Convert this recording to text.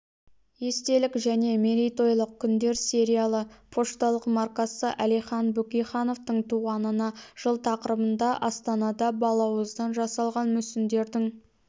естелік және мерейтойлық күндер сериялы пошталық маркасы әлихан бөкейхановтың туғанына жыл тақырыбында астанада балауыздан жасалған мүсіндердің